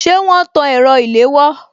Ṣé wọn tan ẹ̀rọ ilewò